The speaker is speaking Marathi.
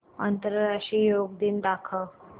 आंतरराष्ट्रीय योग दिन दाखव